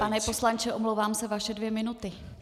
Pane poslanče, omlouvám se, vaše dvě minuty.